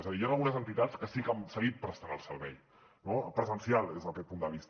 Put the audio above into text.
és a dir hi han algunes entitats que sí que han seguit prestant el servei no presencial des d’aquest punt de vista